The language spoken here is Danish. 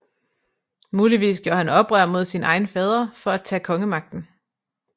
Muligvis gjorde han oprør mod sin egen fader for at tage kongemagten